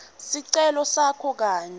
sicelo sakho kanye